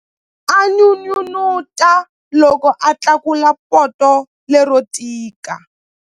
A n'unun'uta loko a tlakula poto lero tika.